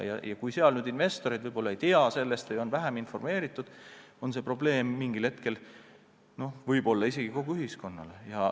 Ja kui investorid ei tea sellest, on vähem informeeritud, siis see võib mingil hetkel tekitada probleemi isegi kogu ühiskonnale.